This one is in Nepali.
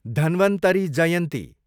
धन्वन्तरी जयन्ती